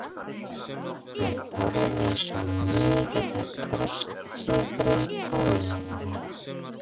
Ég borðaði svo mikið af brjóstsykri á leiðinni